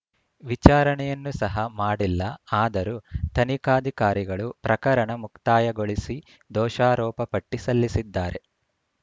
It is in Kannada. ವಿಚಾರಣೆಯನ್ನು ಸಹ ಮಾಡಿಲ್ಲ ಆದರೂ ತನಿಖಾಧಿಕಾರಿಗಳು ಪ್ರಕರಣ ಮುಕ್ತಾಯಗೊಳಿಸಿ ದೋಷಾರೋಪ ಪಟ್ಟಿಸಲ್ಲಿಸಿದ್ದಾರೆ